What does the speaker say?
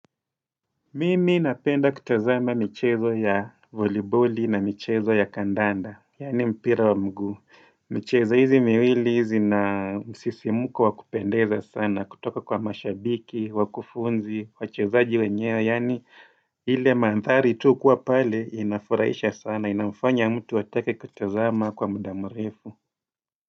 Mimi napenda kutazama michezo ya voliboli na michezo ya kandanda Yaani mpira wa mguu michezo hizi miwili hizi na msisimuko wa kupendeza sana kutoka kwa mashabiki, wakufunzi, wachezaji wenyewe Yaani ile maandhari tu kuwa pale inafurahisha sana. Inamfanya mtu atake kutazama kwa muda mrefu.